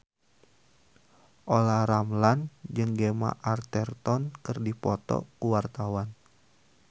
Olla Ramlan jeung Gemma Arterton keur dipoto ku wartawan